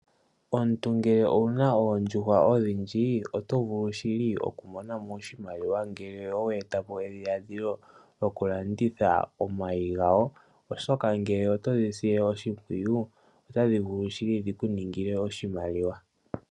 Omuntu ngele owu na oondjuhwa odhindji oto vulu shili okumona mo oshimaliwa, ngele owa eta po edhiladhilo lyokulanditha omayi gayo , oshoka ngele otodhi sile oshimpwiyu otadhi vulu shili dhiku ningile oshimaliwa.